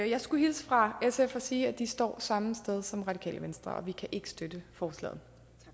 jeg skulle hilse fra sf og sige at de står samme sted som radikale venstre vi kan ikke støtte forslaget